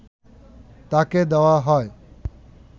তাঁকে দেওয়া হয়